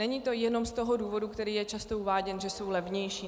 Není to jenom z toho důvodu, který je často uváděn, že jsou levnější.